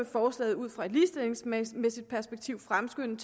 forslaget ud fra et ligestillingsmæssigt perspektiv fremskynde